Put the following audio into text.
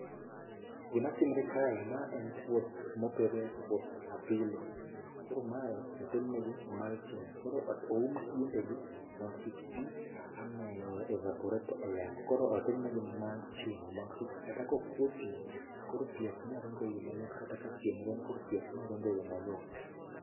Gimatimre kae, ma en puoth mopidhe puoth apilo koro mae otimne gi mulching koro oum tiendegi mondo kik pii ane evaporate e yamo koro otimnegi [c]mulching mondo kik kata kokuo pii to koro pii ok nyaringo eyo mayot kata ka chieng' rieny koro pii ok nyaringo eyo mayot